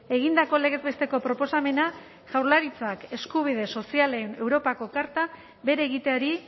egindako legez besteko proposamena jaurlaritzak eskubide sozialen europako karta bere egiteari